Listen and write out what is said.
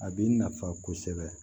A bi nafa kosɛbɛ